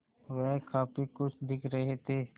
वह काफ़ी खुश दिख रहे थे